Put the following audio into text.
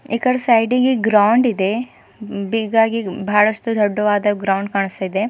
ಈಕಡಿ ಸೈಡಿಗಿ ಗ್ರೌಂಡ್ ಇದೆ ಬಿಗ್ ಆಗಿ ಬಾಳಷ್ಟ ದೊಡ್ಡವಾದ ಗ್ರೌಂಡ್ ಕಾಣಸ್ತಾ ಇದೆ.